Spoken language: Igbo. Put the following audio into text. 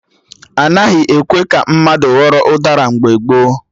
Anaghị ekwe ka mmadụ ghọrọ ụdara mgbe gboo